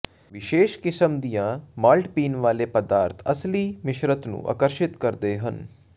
ਵਿਸ਼ੇਸ਼ ਕਿਸਮ ਦੀਆਂ ਮਾਲਟ ਪੀਣ ਵਾਲੇ ਪਦਾਰਥ ਅਸਲੀ ਮਿਸ਼ਰਤ ਨੂੰ ਆਕਰਸ਼ਿਤ ਕਰਦੇ ਹਨ